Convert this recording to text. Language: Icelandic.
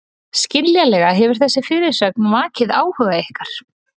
Skiljanlega hefur þessi fyrirsögn vakið áhuga ykkar.